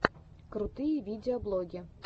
крутые видеоблоги